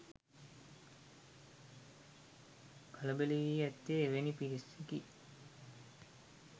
කලබල වී ඇත්තේ එවැනි පිරිසකි.